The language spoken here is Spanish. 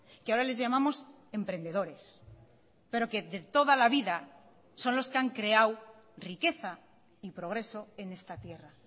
que ahora les llamamos emprendedores pero que de toda la vida son los que han creado riqueza y progreso en esta tierra